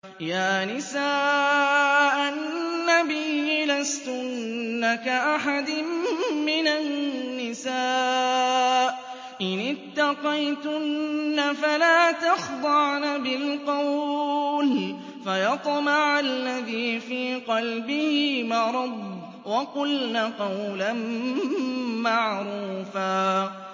يَا نِسَاءَ النَّبِيِّ لَسْتُنَّ كَأَحَدٍ مِّنَ النِّسَاءِ ۚ إِنِ اتَّقَيْتُنَّ فَلَا تَخْضَعْنَ بِالْقَوْلِ فَيَطْمَعَ الَّذِي فِي قَلْبِهِ مَرَضٌ وَقُلْنَ قَوْلًا مَّعْرُوفًا